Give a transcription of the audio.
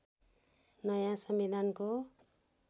नयाँ संविधानको